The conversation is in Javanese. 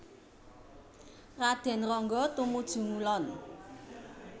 Raden Ronggo tumuju ngulon